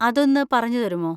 അതൊന്ന് പറഞ്ഞുതരുമോ?